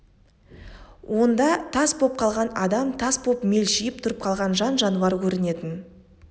онда тас боп қалған адам тас боп мелшиіп тұрып қалған жан-жануар көрінетін